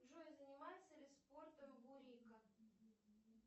джой занимается ли спортом бурико